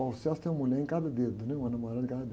tem uma mulher em cada dedo, né? Uma namorada em cada dedo.